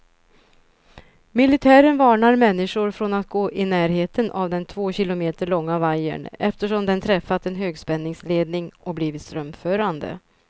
Militären varnar människor från att gå i närheten av den två kilometer långa vajern, eftersom den träffat en högspänningsledning och blivit strömförande.